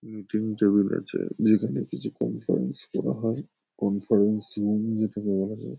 Meeting table আছে। যেখানে কিছু কনফারেন্স করা হয়। কনফারেন্স রুম যেটাকে বলা হয় ।